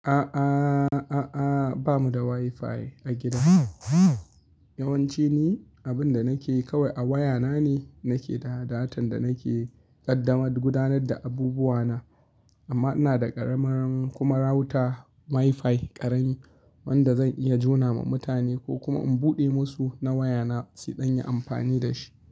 A'a, a'a, ba mu da WiFi a gida. Yawanci ni abin da nake kawai a waya na ne nake da data, don nake ƙaddamar da gudanar da abubuwa na. Amma ina da ƙaramar kuma router WiFi ƙarami wanda zan iya jona ma mutane ko kuma in buɗe musu na waya na su don yi amfani da shi.